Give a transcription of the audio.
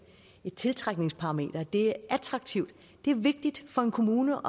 tiltrækningsparameter at det er attraktivt det er vigtigt for en kommune